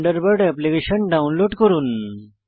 Thunderbird application download করুন